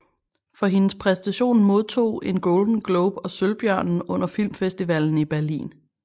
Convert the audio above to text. For hendes præstation modtog en Golden Globe og Sølvbjørnen under Filmfestivalen i Berlin